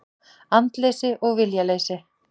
Andleysi og viljaleysi.